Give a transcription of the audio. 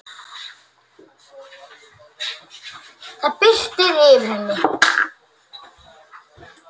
Það birti yfir henni.